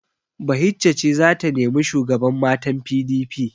Bahijja ce za ta nemi shugaban matan PDP.